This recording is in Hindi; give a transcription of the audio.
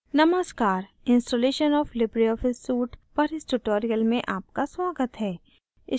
नमस्कार ! installation of libreoffice suite पर इस tutorial में आपका स्वागत है